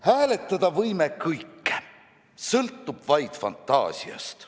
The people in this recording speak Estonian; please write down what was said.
Hääletada võime kõike, sõltub vaid fantaasiast.